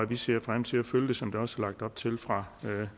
vi ser frem til at følge det som der også er lagt op til fra